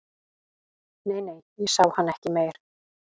Nei, nei, ég sá hann ekki meir